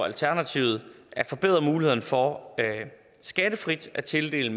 alternativet at forbedre mulighederne for skattefrit at tildele